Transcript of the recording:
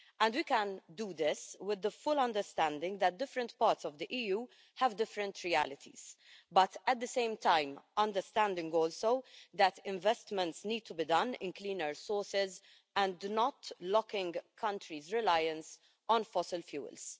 We can do this with the full understanding that different parts of the EU have different realities, but at the same time also understanding that investments need to be made in cleaner sources and not locking countries' reliance on fossil fuels.